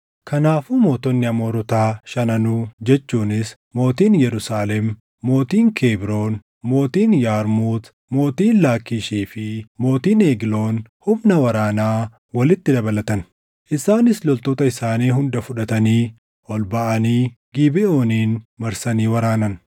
Kanaafuu mootonni Amoorotaa shananuu jechuunis mootiin Yerusaalem, mootiin Kebroon, mootiin Yarmuut, mootiin Laakkiishii fi mootiin Egloon humna waraanaa walitti dabalatan. Isaanis loltoota isaanii hunda fudhatanii ol baʼanii Gibeʼoonin marsanii waraanan.